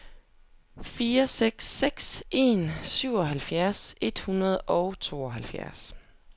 fire seks seks en syvoghalvfjerds et hundrede og tooghalvfjerds